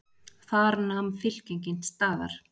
Þar nam fylkingin staðar.